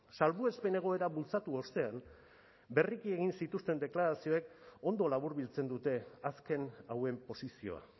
salbuespen egoera bultzatu ostean berriki egin zituzten deklarazioek ondo laburbiltzen dute azken hauen posizioa